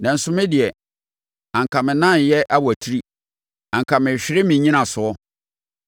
Nanso me deɛ, anka me nan reyɛ awatiri; anka merehwere me nnyinasoɔ,